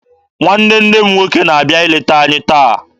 Nwanne nne m nwoke na-abịa ileta anyị taa.